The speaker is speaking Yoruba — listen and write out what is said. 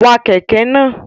Wa kẹ̀kẹ́ náà!